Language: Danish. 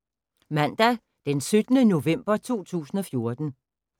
Mandag d. 17. november 2014